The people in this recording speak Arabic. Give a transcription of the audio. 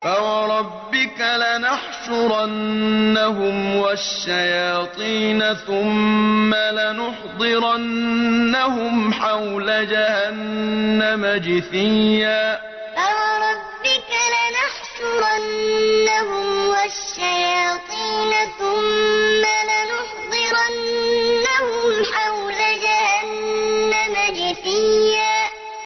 فَوَرَبِّكَ لَنَحْشُرَنَّهُمْ وَالشَّيَاطِينَ ثُمَّ لَنُحْضِرَنَّهُمْ حَوْلَ جَهَنَّمَ جِثِيًّا فَوَرَبِّكَ لَنَحْشُرَنَّهُمْ وَالشَّيَاطِينَ ثُمَّ لَنُحْضِرَنَّهُمْ حَوْلَ جَهَنَّمَ جِثِيًّا